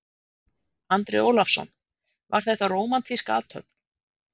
Andri Ólafsson: Var þetta rómantísk athöfn?